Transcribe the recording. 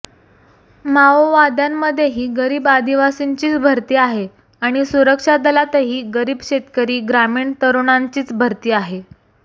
माओवाद्यांमध्येही गरीब आदिवासींचीच भरती आहे आणि सुरक्षा दलातही गरीब शेतकरी ग्रामीण तरुणांचीच भरती आहे